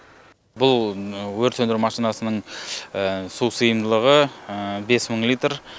бұл өрт сөндіру машинасының су сыйымдылығы бес мың литр